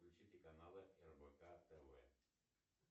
включите каналы рбк тв